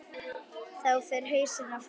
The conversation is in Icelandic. Þá fer hausinn á flug.